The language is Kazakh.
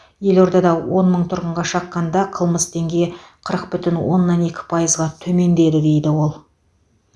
елордада он мың тұрғынға шаққанда қылмыс деңгейі қырық бүтін оннан екі пайызға төмендеді дейді ол